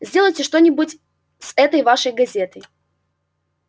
сделайте что-нибудь с этой вашей газетой